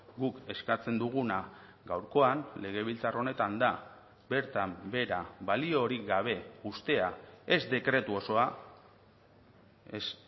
guk eskatzen duguna gaurkoan legebiltzar honetan da bertan behera baliorik gabe uztea ez dekretu osoa ez